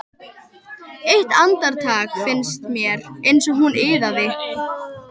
Eitt andartak fannst mér eins og hún iðaði.